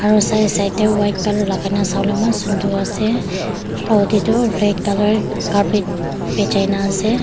aru side side teh white colour lagai na sabole eman sundar ase floor teh tu red colour carpet bechai na ase.